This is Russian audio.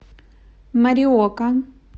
мориока